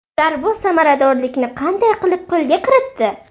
Ular bu samaradorlikni qanday qilib qo‘lga kiritdi?